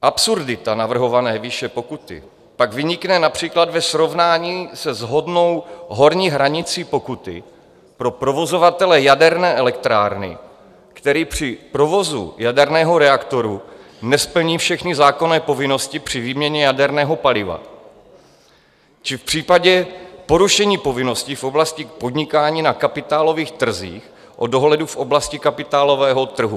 Absurdita navrhované výše pokuty pak vynikne například ve srovnání se shodnou horní hranicí pokuty pro provozovatele jaderné elektrárny, který při provozu jaderného reaktoru nesplní všechny zákonné povinnosti při výměně jaderného paliva, či v případě porušení povinností v oblasti podnikání na kapitálových trzích o dohledu v oblasti kapitálového trhu.